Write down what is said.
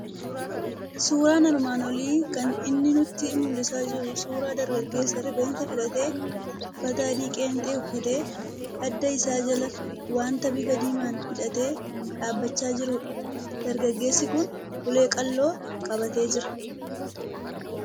Suuraan armaan olii kan inni nutti mul'isaa jiru suuraa dargageessa rifeensa filatee, uffata adii qeenxee uffatee, adda isaa jala waanta bifa diimaan hidhatee dhaabbachaa jirudha. Dargaggeessi kun ulee qal'oo qabatee jira.